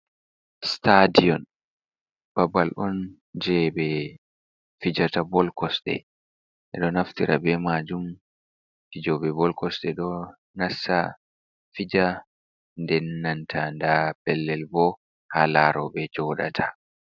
Stadion babal on je ɓe fijata bol kosde ɓe ɗo naftira be majun fijobe bol kosde ɗo nasta fija de nnanta da bellel bo ha larobe jodata.